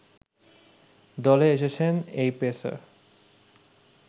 দলে এসেছেন এই পেসার